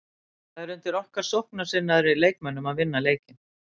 Það er undir okkar sóknarsinnaðri leikmönnum að vinna leikinn.